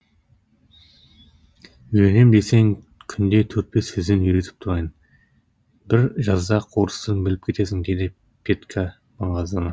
үйренем десең күнде төрт бес сөзден үйретіп тұрайын бір жазда ақ орыс тілін біліп кетесің деді петька маңғаздана